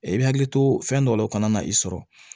I bɛ hakili to fɛn dɔ la o kana na i sɔrɔ